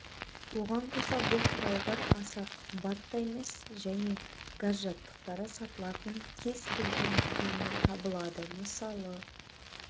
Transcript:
оған қоса бұл құралдар аса қымбат та емес және газ жабдықтары сатылатын кез-келген дүкеннен табылады мысалы